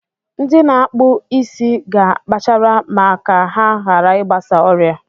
Ndị na-akpụ isi ga akpachara ma ka ha hara I gbasa ọrịa.